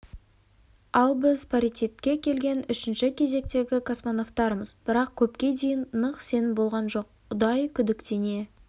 ал біз паритетке келген үшінші кезектегі космонавтармыз бірақ көпке дейін нық сенім болған жоқ ұдайы күдіктене